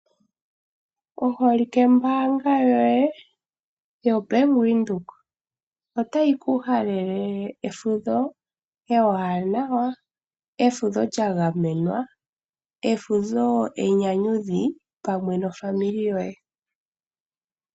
Oholike mbaanga yoye yoBank Windhoek otayi kuhalele efundho ewaanawa, efudho lyagamenwa, efudho enyanyudhi pamwe nofamili yoye.